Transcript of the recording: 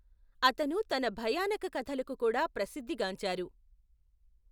అతను తన భయానక కథలకు కూడా ప్రసిద్ధి గాంచారు.